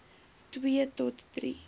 twee tot drie